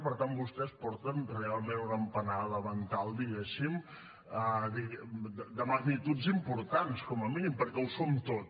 per tant vostès porten realment una empanada mental diguéssim de magnituds importants com a mínim perquè ho som tot